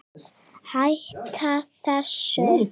Hætta þessu!